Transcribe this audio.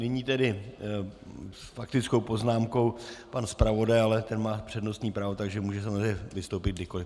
Nyní tedy s faktickou poznámkou pan zpravodaj, ale ten má přednostní právo, takže může samozřejmě vystoupit kdykoliv.